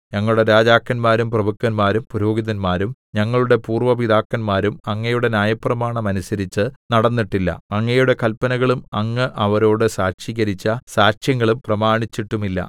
ഞങ്ങളുടെ രാജാക്കന്മാരും പ്രഭുക്കന്മാരും പുരോഹിതന്മാരും ഞങ്ങളുടെ പൂര്‍വ്വ പിതാക്കന്മാരും അങ്ങയുടെ ന്യായപ്രമാണം അനുസരിച്ച് നടന്നിട്ടില്ല അങ്ങയുടെ കല്പനകളും അങ്ങ് അവരോട് സാക്ഷീകരിച്ച സാക്ഷ്യങ്ങളും പ്രമാണിച്ചിട്ടുമില്ല